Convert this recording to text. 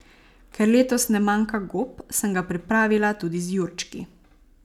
Ker letos ne manjka gob, sem ga pripravila tudi z jurčki.